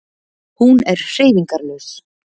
Hún er hreyfingarlaus.